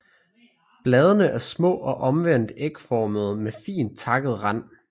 Bladene er små og omvendt ægformede med fint takket rand